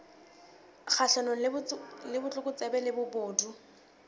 kgahlanong le botlokotsebe le bobodu